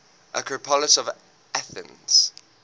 acropolis of athens